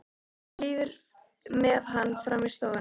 Líður með hann fram í stofuna.